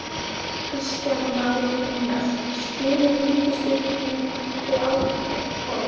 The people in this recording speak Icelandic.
Kristján Már Unnarsson: Styður ríkisstjórnin þau áform?